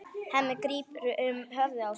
Hemmi grípur um höfuð sér.